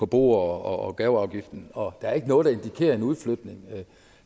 bo og gaveafgiften og der er ikke noget der indikerer en udflytning